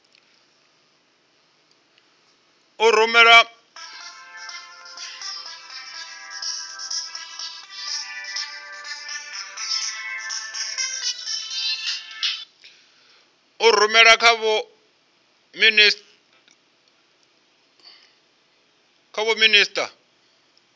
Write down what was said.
a rumela kha vho minisita